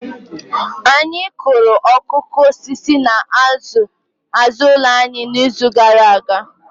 Anyị kụrụ okooko osisi n'azụ ụlọ anyị n'izu gara aga